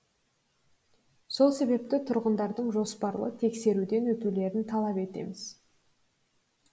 сол себепті тұрғындардың жоспарлы тексерулерден өтулерін талап етеміз